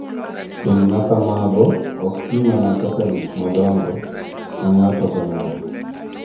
Keny makamago ok ti mana kaka gik madongo mag ng’ato ka ng’ato .